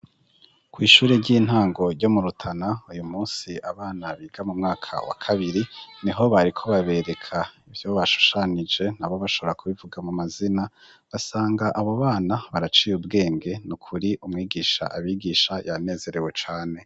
Kw'ishure ry'intango ryo mu Rutana uyu munsi abana biga mu mwaka wa kabiri niho bariko babereka ivyo bashushanije nabo bashobora kubivuga mu mazina basanga abo bana baraciye ubwenge nukuri umwigisha abigisha yanezerewe cane.